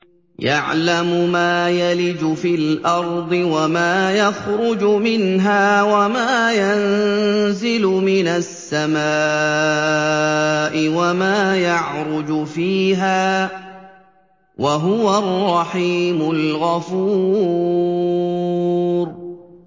يَعْلَمُ مَا يَلِجُ فِي الْأَرْضِ وَمَا يَخْرُجُ مِنْهَا وَمَا يَنزِلُ مِنَ السَّمَاءِ وَمَا يَعْرُجُ فِيهَا ۚ وَهُوَ الرَّحِيمُ الْغَفُورُ